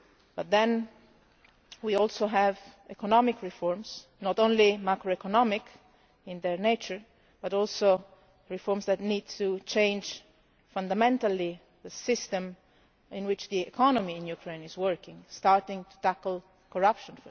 But then we also have economic reforms, not only macroeconomic in their nature, but also reforms that need to change fundamentally the system in which the economy in Ukraine is working, starting first of all with tackling corruption.